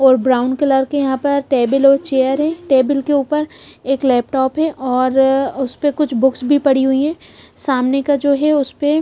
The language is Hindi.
और ब्राउन कलर के यहाँ पर टेबल और चेयर है टेबल के ऊपर एक लैपटॉप है और उस पर कुछ बुक्स भी पड़ी हुई है सामने का जो है उस पे--